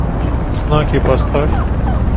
знаки поставь